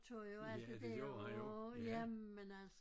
Ja det gjorde han jo ja